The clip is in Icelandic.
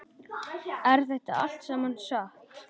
Er þetta allt saman satt?